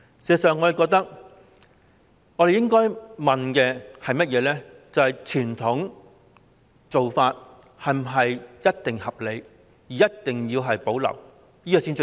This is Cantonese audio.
事實上，我們應該問傳統做法是否一定合理，一定要保留？